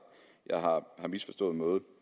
jeg har misforstået noget